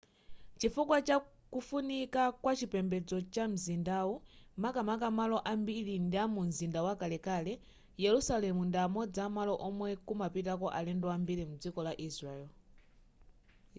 chifukwa cha kufunika kwachipembedzo kwa mzindawu makamaka malo ambiri ndiamumzinda wakalekale yerusalemu ndi amodzi amalo omwe kumapitako alendo ambiri mdziko la israeli